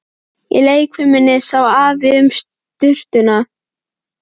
Í leikfiminni sá Afi um sturturnar.